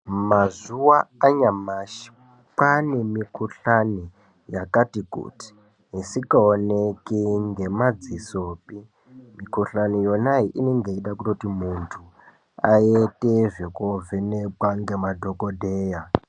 Mazuwano anyamashi kwane mikhuhlani yakati kuti isikaoneki ngemadzisopi, mikhuhlani yona iyi inenge yeida kutoti muntu aite zvekovhenekwa ngemadhokodheya.